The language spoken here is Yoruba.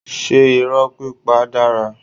Ṣé irọ́ pípa dára?